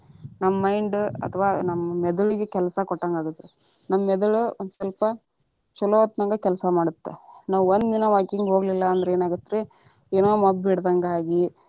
ನಮ್ಮ mind ಅಥವಾ ನಮ್ಮ ಮೆದುಳಿಗ ಕೆಲಸಾ ಕೊಟ್ಟಂಗ ಆಗತ್ರಿ, ನಮ್ಮ ಮೆದುಳ ಒಂದ ಸ್ವಲ್ಪ ಚೋಲೊತ್ನಾಗ ಕೆಲಸಾ ಮಾಡತ್ರಿ. ನಾವು ಒಂದ ದಿನಾ walking ಹೋಗ್ಲಿಲ್ಲಾ ಅಂದ್ರ ಏನ ಆಗತ್ತ ರೀ ಏನೊ ಮಬ್ಬ ಹಿಡದಂಗ ಆಗಿ.